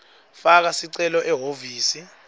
faka sicelo ehhovisi